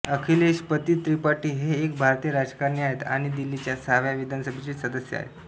अखिलेश पति त्रिपाठी हे एक भारतीय राजकारणी आहेत आणि दिल्लीच्या सहाव्या विधानसभेचे सदस्य आहेत